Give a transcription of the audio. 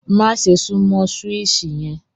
Màṣẹ̀ sùnmọ súwíṣì yen!